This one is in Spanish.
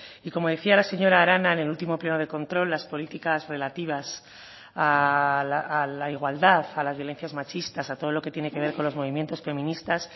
y como decía la señora arana en el último pleno de control las políticas relativas a la igualdad a las violencias machistas a todo lo que tiene que ver con los movimientos feministas